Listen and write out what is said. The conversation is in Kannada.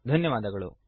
ಧನ್ಯವಾದಗಳು